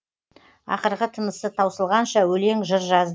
ақырғы тынысы таусылғанша өлең жыр жазды